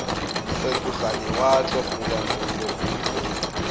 fetoge lewatle goba mollo gomme